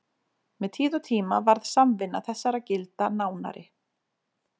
Með tíð og tíma varð samvinna þessara gilda nánari.